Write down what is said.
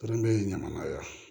Kɛrɛnkɛrɛn ɲamanya yan